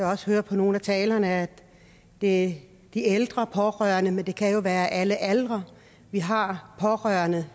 også høre på nogle af talerne at det er ældre pårørende men det kan jo være i alle aldre vi har pårørende